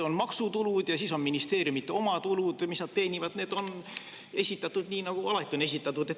On maksutulud ja siis on ministeeriumide oma tulud, mis nad teenivad, need on esitatud nii, nagu nad alati on esitatud.